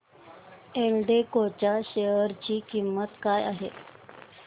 एल्डेको च्या शेअर ची किंमत काय आहे